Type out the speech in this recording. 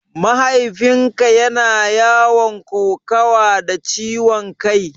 Mahaifin ka yana yawan kokawa da ciwon kai?